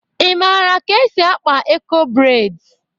Ị mara ka esi akpa Eko breds?